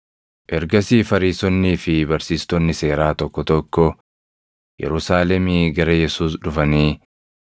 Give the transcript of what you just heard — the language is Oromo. Ergasii Fariisonnii fi barsiistonni seeraa tokko tokko Yerusaalemii gara Yesuus dhufanii,